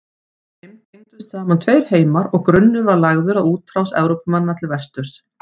Með þeim tengdust saman tveir heimar og grunnur var lagður að útrás Evrópumanna til vesturs.